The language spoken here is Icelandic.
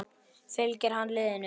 Fylgir hann liðinu?